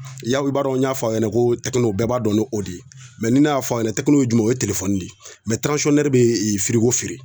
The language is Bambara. Yawu i b'a dɔn n y'a fɔ a ɲɛna ko tɛkino bɛɛ b'a dɔn n'o de ye mɛ ne y'a fɔ a ɲɛna tɛkino ye jumɛn ye o ye telefɔni de ye mɛ tiranzisɔnnɛri be ee firigo feere